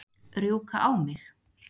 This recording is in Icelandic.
Rjúka á mig?